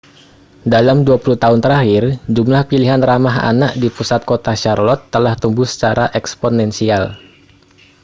dalam 20 tahun terakhir jumlah pilihan ramah anak di pusat kota charlotte telah tumbuh secara eksponensial